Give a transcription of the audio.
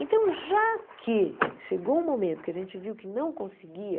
Então, já que chegou um momento que a gente viu que não conseguia,